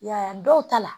I y'a ye dɔw ta la